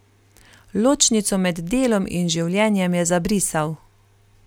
Ločnico med delom in življenjem je zabrisal.